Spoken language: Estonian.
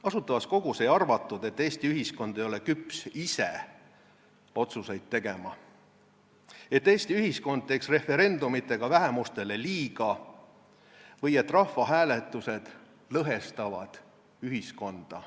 Asutavas Kogus ei arvatud, et Eesti ühiskond ei ole küps ise otsuseid langetama, et Eesti ühiskond teeks referendumitega vähemustele liiga või et rahvahääletused lõhestavad ühiskonda.